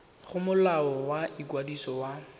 go molao wa ikwadiso wa